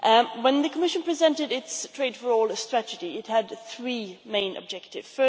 When the Commission presented its Trade for All strategy it had three main objectives.